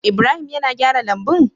Ibrahim yAna gyara lambun?